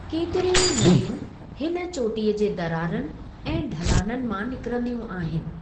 केतिरियूं ई नदियूं हिन चोटीअ जे दरारनि ऐं ढलाननि मां निकिरंदियूं आहिनि।